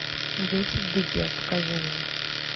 дети в беде покажи мне